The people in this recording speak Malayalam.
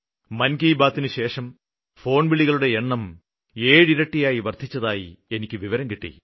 മന് കി ബാത്തിനുശേഷം ഫോണ് വിളികളുടെ എണ്ണം ഏഴിരട്ടി വര്ദ്ധിച്ചതായി എനിക്ക് വിവരം കിട്ടി